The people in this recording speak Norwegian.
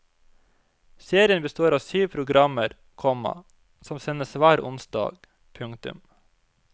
Serien består av syv programmer, komma som sendes hver onsdag. punktum